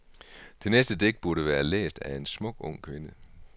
Det næste digt burde være læst af en smuk ung kvinde.